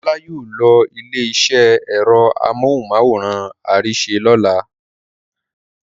Ọlá yóò lọ ilé-iṣẹ́ ẹ̀rọ amóhùmáwòhán Arise lọ́la.